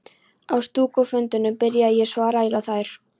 Á stúkufundunum byrjaði ég svo að raula þær.